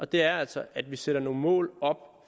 det er altså at vi sætter nogle mål op